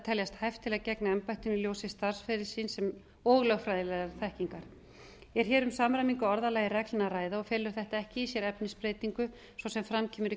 teljast hæft til að gegna embættinu í ljósi starfsferils síns og lögfræðilegrar þekkingar er hér um samræmingu á orðalagi reglna að ræða og felur þetta ekki í sér efnisbreytingu svo sem fram kemur í